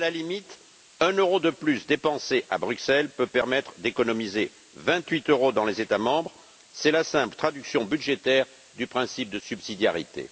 À la limite, un euro de plus dépensé à Bruxelles peut permettre d'économiser vingt huit euros dans les États membres, c'est la simple traduction budgétaire du principe de subsidiarité.